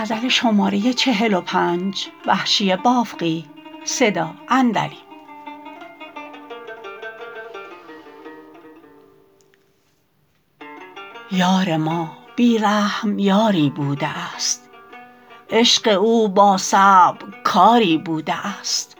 یار ما بی رحم یاری بوده است عشق او با صعب کاری بوده است